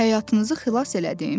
Həyatınızı xilas elədim?